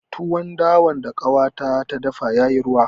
Tuwon dawan da ƙanwata ta dafa ya yi ruwa